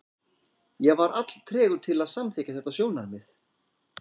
Ég var alltregur til að samþykkja þetta sjónarmið.